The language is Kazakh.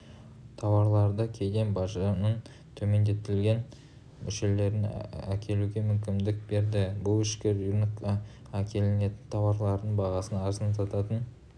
тауарларды кеден бажының төмендетілген мөлшерімен әкелуге мүмкіндік берді бұл ішкі рынокқа әкелінетін тауарлардың бағасын арзандататын